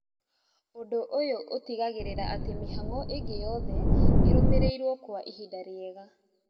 ũndũ ũyũ ũtigagĩrĩra atĩ mĩhang'o ĩngĩ yothe irũmĩrĩirwo Kwa ihinda rĩega